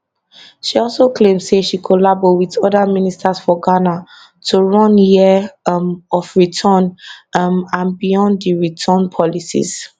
she also claim say she collabo wit oda ministers for ghana to run year um of return um and beyond di return policies